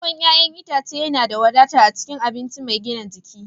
ruwan 'ya'yan itace yana da wadata a cikin abinci mai gina jiki